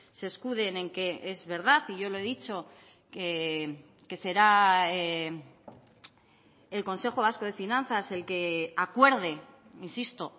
se escuden en que es verdad y yo lo he dicho que será el consejo vasco de finanzas el que acuerde insisto